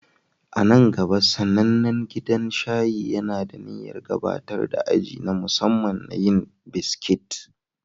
A nan gaba, sanannen gidan shayi yana da niyyar gabatar da aji na musamman na yin biskit